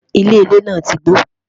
ilé ilé nà tí gbó